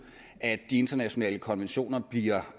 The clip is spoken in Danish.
at de internationale konventioner bliver